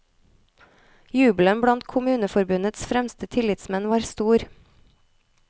Jubelen blant kommuneforbundets fremste tillitsmenn var stor.